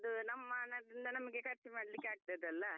ಅದು ನಮ್ಮ ಹಣದಿಂದ ನಮಗೆ ಖರ್ಚ್ ಮಾಡ್ಲಿಕ್ಕೆ ಆಗ್ತದೆಲ್ಲಾ.